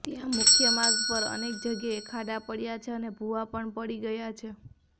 ત્યાં મુખ્યમાર્ગ પર અનેક જગ્યાએ ખાડા પડયા છે અને ભૂવા પણ પડી ગયાં છે